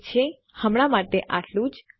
ઠીક છે હમણાં માટે આટલું જ